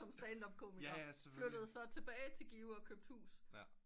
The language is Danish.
Ham stand up komikeren flyttede så tilbage til Give og købte hus